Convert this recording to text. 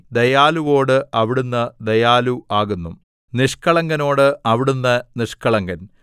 ദയാലുവോട് അവിടുന്ന് ദയാലു ആകുന്നു നിഷ്കളങ്കനോട് അവിടുന്ന് നിഷ്കളങ്കൻ